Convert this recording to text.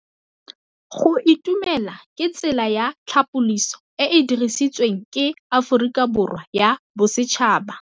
Go itumela ke tsela ya tlhapolisô e e dirisitsweng ke Aforika Borwa ya Bosetšhaba.